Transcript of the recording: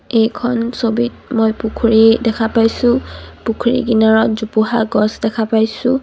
এইখন ছবিত মই পুখুৰী দেখা পাইছোঁ পুখুৰী কিনাৰত জোপোহা গছ দেখা পাইছোঁ।